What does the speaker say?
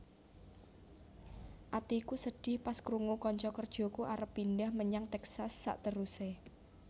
Atiku sedih pas krungu konco kerjoku arep pindah menyang Texas sakteruse